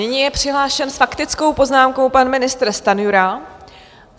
Nyní je přihlášen s faktickou poznámkou pan ministr Stanjura.